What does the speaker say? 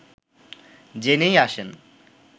জেনেই আসেন